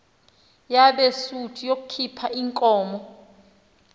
yabesuthu yakhuph iinkomo